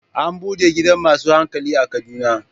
An bude gidan masu hankali a Kaduna.